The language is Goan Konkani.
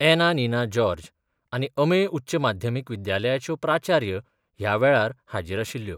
एना निना जॉर्ज आनी अमेय उच्च माध्यमीक विद्यालयाच्यो प्राचार्य ह्या वेळार हाजीर आशिल्ल्यो.